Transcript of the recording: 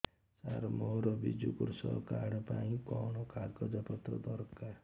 ସାର ମୋର ବିଜୁ କୃଷକ କାର୍ଡ ପାଇଁ କଣ କାଗଜ ପତ୍ର ଦରକାର